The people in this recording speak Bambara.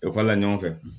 Ekɔli la ɲɔgɔn fɛ